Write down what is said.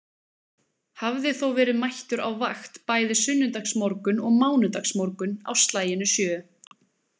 Hafði þó verið mættur á vakt bæði sunnudagsmorgun og mánudagsmorgun, á slaginu sjö.